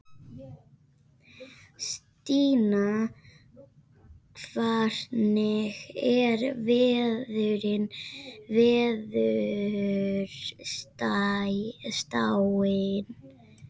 Stína, hvernig er veðurspáin?